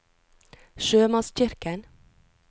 sjømannskirken